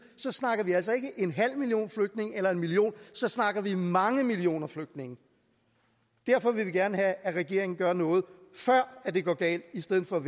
snakker vi altså ikke om en halv million flygtninge eller en million så snakker vi om mange millioner flygtninge derfor vil vi gerne have at regeringen gør noget før det går galt i stedet for